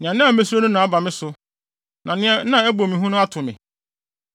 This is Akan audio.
Nea na misuro no aba me so; nea na ɛbɔ me hu no ato me.